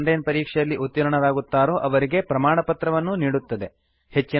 ಯಾರು online ಪರೀಕ್ಷೆಯಲ್ಲಿ ಉತ್ತೀರ್ಣರಾಗುತ್ತಾರೋ ಅವರಿಗೆ ಪ್ರಮಾಣಪತ್ರವನ್ನೂ ನೀಡುತ್ತದೆ